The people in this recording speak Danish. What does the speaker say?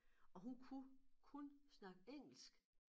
Og hun kunne kun snakke engelsk